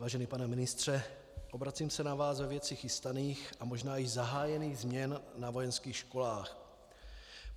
Vážený pane ministře, obracím se na vás ve věci chystaných a možná již zahájených změn na vojenských školách.